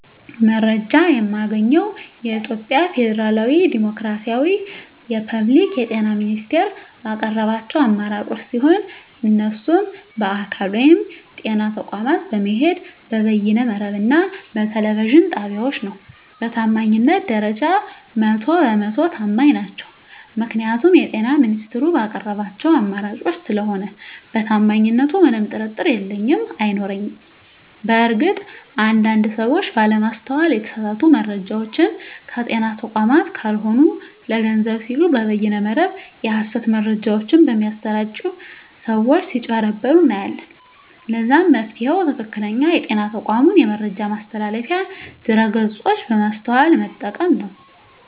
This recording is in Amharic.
መረጃ የማገኘዉ የኢትዮጵያ ፌደራላዊ ዲሞክራሲያዊ የፐብሊክ የጤና ሚኒስቴር ባቀረባቸዉ አማራጮች ሲሆን እነሱም በአካል (ጤና ተቋማት በመሄድ)፣ በበይነ መረብ እና በቴሌቪዥን ጣቢያወች ነዉ። በታማኝነት ደረጃ 100 በ 100 ተማኝ ናቸዉ ምክንያቱም የጤና ሚኒስቴሩ ባቀረባቸዉ አማራጮች ስለሆነ በታማኝነቱ ምንም ጥርጥር የለኝም አይኖረኝም። በእርግጥ አንድ አንድ ሰወች ባለማስተዋል የተሳሳቱ መረጃወችን ከጤና ተቋማት ካልሆኑ ለገንዘብ ሲሉ በበይነ መረብ የሀሰት መረጃወች በሚያሰራጪ ሰወች ስጭበረበሩ እናያለን ለዛም መፍትሄዉ ትክክለኛዉ የጤና ተቋሙን የመረጃ ማስተላለፊያ ድረገፆች በማስተዋል መጠቀም ነዉ።